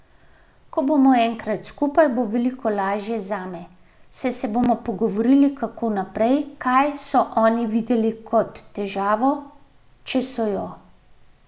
Ko bomo enkrat skupaj, bo veliko lažje zame, saj se bomo pogovorili, kako naprej, kaj so oni videli kot težavo, če so jo.